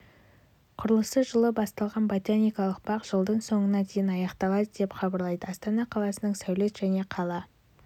құрылысы жылы басталған ботаникалық бақ жылдың соңына дейін аяқталады деп хабарлайды астана қаласының сәулет және қала